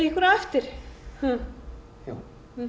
ykkur á eftir hm já